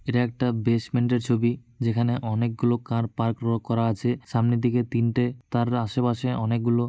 এটা একটা বেস্টমেন্ড এর ছবি যেখানে অনেকগুলো কার পার্ক রো করা আছে সামনের দিকে তিনটে তার আশেপাশে অনেকগুলো।